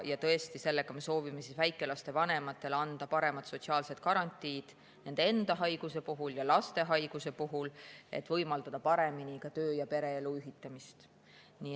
Tõesti, sellega me soovime väikelaste vanematele anda paremad sotsiaalsed garantiid nende enda haiguse puhul ja lapse haiguse puhul, et võimaldada paremini töö‑ ja pereelu ühitada.